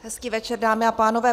Hezký večer, dámy a pánové.